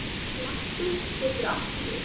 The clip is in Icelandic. Hnappur getur átt við